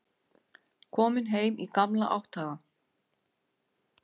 Kominn heim í gamla átthaga.